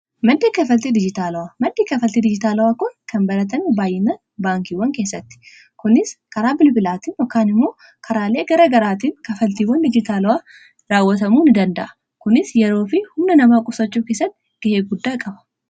Madda kanfaltii dijitaalawaa kun kan baratame baay'inaan baankiiwwan keessatti. Kunis karaa bilbilaatiin yokaan immoo karaalee garaa garaatiin kanfaltiiwwan dijitaala'aa raawwatamuu ni danda'a. Kunis yeroofi humna namaa qusachuu keessatti gahee guddaa qaba.